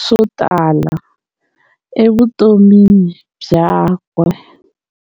swotala evutomini byakwe.